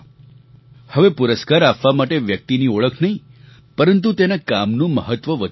હવે પુરસ્કાર આપવા માટે વ્યક્તિની ઓળખ નહીં પરંતુ તેના કામનું મહત્વ વધી રહ્યું છે